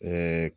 Ɛɛ